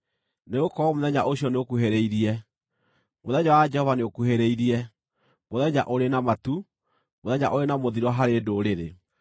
Nĩgũkorwo mũthenya ũcio nĩũkuhĩrĩirie, mũthenya wa Jehova nĩũkuhĩrĩirie, mũthenya ũrĩ na matu, mũthenya ũrĩ na mũthiro harĩ ndũrĩrĩ.